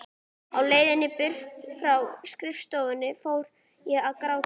Á leiðinni burt frá skrifstofunni fór ég að gráta.